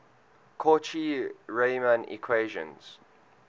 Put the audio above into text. cauchy riemann equations